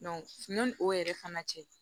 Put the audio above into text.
yanni o yɛrɛ fana cɛ